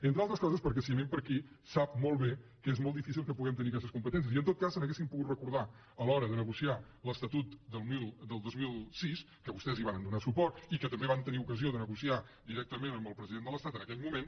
entre altres coses perquè si anem per aquí sap molt bé que és molt difícil que puguem tenir aquestes competències i en tot cas se n’haurien pogut recordar a l’hora de negociar l’estatut del dos mil sis que vostès hi varen donar suport i que també van tenir ocasió de negociar directament amb el president de l’estat en aquell moment